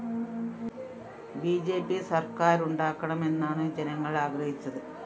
B J P സര്‍ക്കാരുണ്ടാക്കണമെന്നാണ് ജനങ്ങള്‍ ആഗ്രഹിച്ചത്